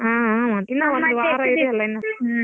ಹ್ಮ್ ಹ್ಮ್ ಮತ್ತ್ ಇನ್ನ ವಾರ ಇದೀಯಲ್ಲ ಇನ್ನ.